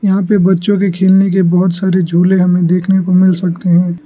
यहां पे बच्चों के खेलने के बहोत सारे झूले हमें देखने को मिल सकते हैं।